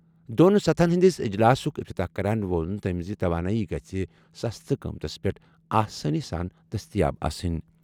دۄن سطحَن ہِنٛدِس اجلاسُک افتتاح کران ووٚن تٔمۍ زِ توانٲیی گژھہِ سستہٕ قۭمتَس پٮ۪ٹھ آسٲنی سان دٔستیاب آسٕنۍ۔